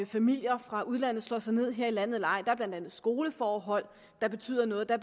familier fra udlandet slår sig ned her i landet eller ej der er blandt andet skoleforhold der betyder noget der